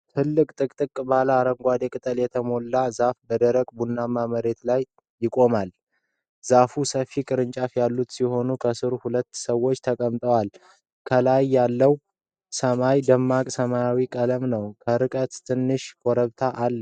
ትልቅ፣ ጥቅጥቅ ባለ አረንጓዴ ቅጠል የተሞላ ዛፍ በደረቅ ቡናማ መሬት ላይ ይቆማል። ዛፉ ሰፊ ቅርንጫፎች ያሉት ሲሆን ከሥሩ ሁለት ሰዎች ተቀምጠዋል። ከላይ ያለው ሰማይ ደማቅ ሰማያዊ ቀለም ነው። ከርቀት ትንሽ ኮረብታ አለ።